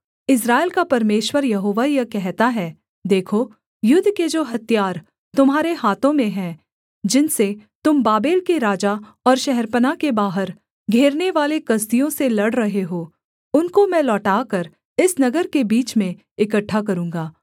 इस्राएल का परमेश्वर यहोवा यह कहता है देखो युद्ध के जो हथियार तुम्हारे हाथों में है जिनसे तुम बाबेल के राजा और शहरपनाह के बाहर घेरनेवाले कसदियों से लड़ रहे हो उनको मैं लौटाकर इस नगर के बीच में इकट्ठा करूँगा